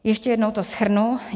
Ještě jednou to shrnu.